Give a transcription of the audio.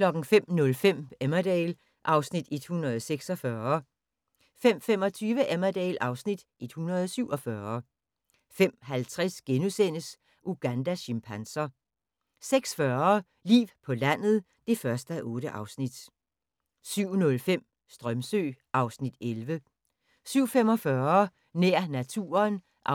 05:05: Emmerdale (Afs. 146) 05:25: Emmerdale (Afs. 147) 05:50: Ugandas chimpanser * 06:40: Liv på landet (1:8) 07:05: Strömsö (Afs. 11) 07:45: Nær naturen (4:11)